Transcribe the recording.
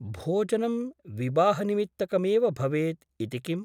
भोजनं विवाहनिमित्तकमेव भवेत् इति किम् ?